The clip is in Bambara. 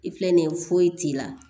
I filɛ nin ye foyi t'i la